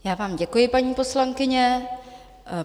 Já vám děkuji, paní poslankyně.